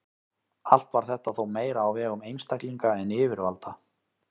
Allt var þetta þó meira á vegum einstaklinga en yfirvalda.